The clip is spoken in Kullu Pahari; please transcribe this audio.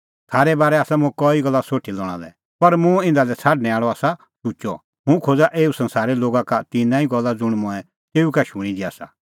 थारै बारै आसा मुंह कई गल्ला सोठी लणा लै पर मुंह इधा लै छ़ाडणैं आल़अ आसा शुचअ हुंह खोज़ा एऊ संसारे लोगा का तिन्नां ई गल्ला ज़ुंण मंऐं तेऊ का शूणीं दी आसा